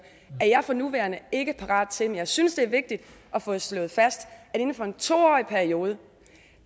er jeg for nuværende ikke parat til men jeg synes det er vigtigt at få slået fast at inden for en to årig periode